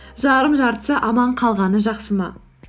жарым жартысы аман қалғаны жақсы ма